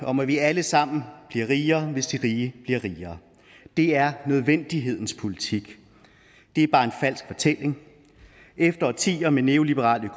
om at vi alle sammen bliver rigere hvis de rige bliver rigere det er nødvendighedens politik det er bare en falsk fortælling efter årtier med neoliberal